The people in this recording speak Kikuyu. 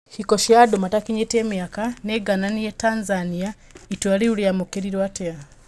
Hiko cia andũ matakĩnyĩtie miaka nĩngananie Tathania, itũa rĩu rĩamukĩirwo atĩa.